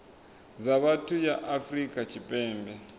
dza vhathu ya afrika tshipembe